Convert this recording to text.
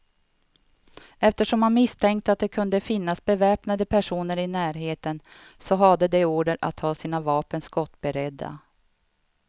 Eftersom man misstänkte att det kunde finnas beväpnade personer i närheten, så hade de order att ha sina vapen skottberedda.